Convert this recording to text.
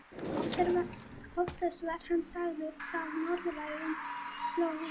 Oftast var hann sagður frá norðlægum slóðum, kannski vegna þess hve hlýlega hann var klæddur.